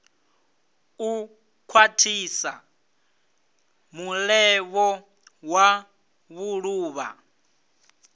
u khwathisa mulevho wa vhuluvha